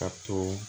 Ka to